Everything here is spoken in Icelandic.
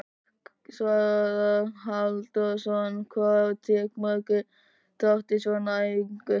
Svavar Halldórsson: Hvað taka margir þátt í svona æfingu?